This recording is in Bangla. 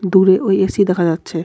দূরে ওই এ_সি দেখা যাচ্ছে.